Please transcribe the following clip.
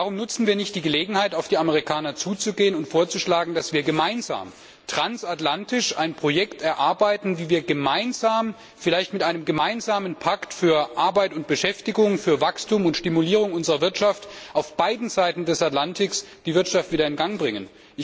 Warum nutzen wir nicht die Gelegenheit, auf die Amerikaner zuzugehen und vorzuschlagen, dass wir gemeinsam, transatlantisch ein Projekt erarbeiten, wie wir gemeinsam vielleicht mit einem gemeinsamen Pakt für Arbeit und Beschäftigung, für Wachstum und Stimulierung unserer Wirtschaften auf beiden Seiten des Atlantiks die Wirtschaft wieder in Gang bringen?